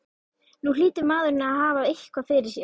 Nú hlýtur maðurinn að hafa eitthvað fyrir sér?